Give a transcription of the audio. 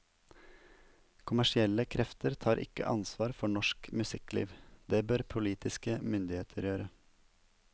Kommersielle krefter tar ikke ansvar for norsk musikkliv, det bør politiske myndigheter gjøre.